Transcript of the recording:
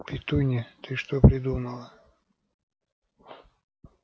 петунья ты что придумала